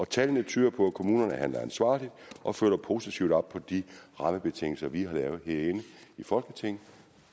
tallene tyder på at kommunerne handler ansvarligt og følger positivt op på de rammebetingelser vi har lavet her inde i folketinget